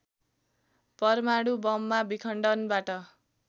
परमाणु बममा विखण्डनबाट